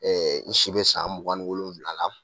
n si bɛ san mugan ni wolonwula la.